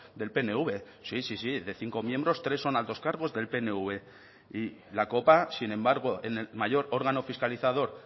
del pnv sí sí sí de cinco miembros tres son altos cargos del pnv y la copa sin embargo en el mayor órgano fiscalizador